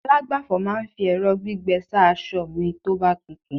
alagbafọ̀ ma n fi ẹrọ gbígbẹ sa asọ mi toba tutu